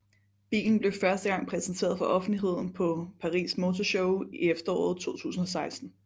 Bilen blev første gang præsenteret for offentligheden på Paris Motor Show i efteråret 2016